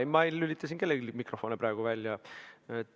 Ei, ma ei lülita siin kellelgi praegu mikrofoni välja.